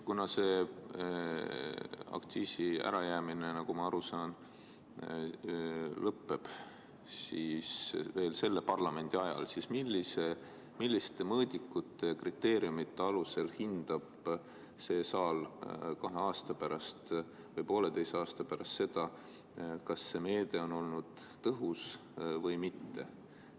Kuna aktsiisi ärajäämine, nagu ma aru saan, lõpeb veel selle parlamendikoosseisu ajal, siis milliste mõõdikute ja kriteeriumide alusel hindab see saal kahe aasta või poolteise aasta pärast seda, kas meede on olnud tõhus või mitte.